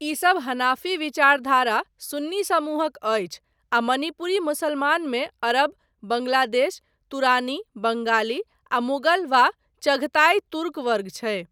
ई सब हनाफी विचारधारा सुन्नी समूहक अछि आ मणिपुरी मुसलमानमे अरब, बांग्लादेश, तुरानी, बंगाली आ मुगल वा चघताई तुर्क वर्ग छै।